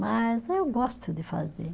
Mas eu gosto de fazer.